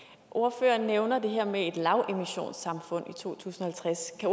ordføreren nævner det her med et lavemissionssamfund i to tusind og halvtreds kan